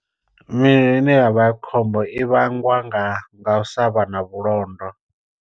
Milayo ine ya vha khombo i vhangwa nga nga u sa vha na vhulondo.